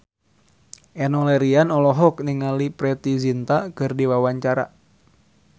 Enno Lerian olohok ningali Preity Zinta keur diwawancara